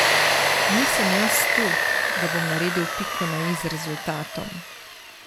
Nisem jaz tu, da bom naredil piko na i z rezultatom.